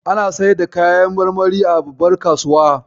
Ana saida kayan marmari a babbar kasuwa.